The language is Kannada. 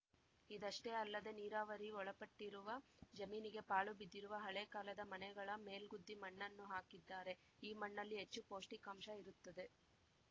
ಇದಷ್ಟೇ ಅಲ್ಲದೇ ನೀರಾವರಿ ಒಳಪಟ್ಟಿರುವ ಜಮೀನಿಗೆ ಪಾಳುಬಿದ್ದಿರುವ ಹಳೇ ಕಾಲದ ಮನೆಗಳ ಮೇಲ್ಗುದ್ದಿ ಮಣ್ಣನ್ನು ಹಾಕಿದ್ದಾರೆ ಈ ಮಣ್ಣಲ್ಲಿ ಹೆಚ್ಚು ಪೌಷ್ಟಿಕಾಂಶ ಇರುತ್ತದೆ